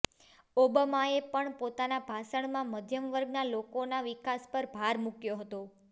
ઓબામાએ પણ પોતાના ભાષણમાં મધ્યમવર્ગના લોકોના વિકાસ પર ભાર મૂક્યો હતો